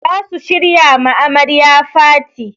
Za su shirya ma amarya faty.